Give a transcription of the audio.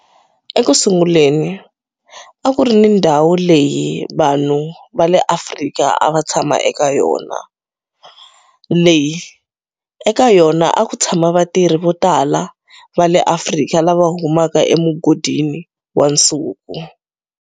Eku sunguleni a ku ri ni ndhawu leyi vanhu va le Afrika a va tshama eka yona, leyi eka yona a ku tshama vatirhi vo tala va le Afrika lava humaka emugodini wa nsuku.